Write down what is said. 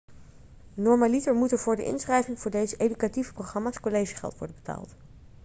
normaliter moet er voor de inschrijving voor deze educatieve programma's collegegeld worden betaald